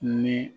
Ni